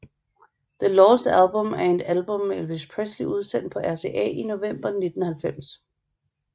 The Lost Album er et album med Elvis Presley udsendt på RCA i november 1990